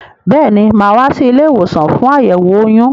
Béèni, máa wá sí ilé-ìwòsàn fún àyẹ̀wò oyún